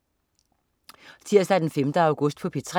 Tirsdag den 5. august - P3: